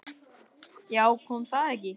Já, kom það ekki!